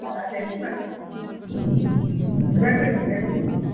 ଉଁ Tennis ନା ।